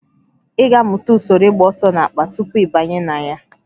Ị ga-amụta usoro ịgba ọsọ n'akpa tupu ị banye na ya